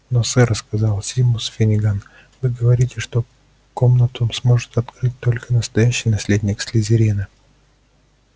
но сэр сказал симус финниган вы говорите что комнату сможет открыть только настоящий наследник слизерина